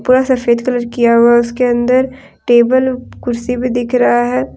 पूरा सफेद कलर किया हुआ है उसके अंदर टेबल कुर्सी भी दिख रहा है।